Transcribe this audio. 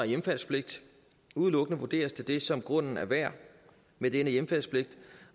hjemfaldspligt udelukkende vurderes til det som grunden er værd med denne hjemfaldspligt